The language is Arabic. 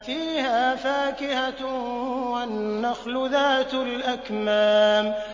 فِيهَا فَاكِهَةٌ وَالنَّخْلُ ذَاتُ الْأَكْمَامِ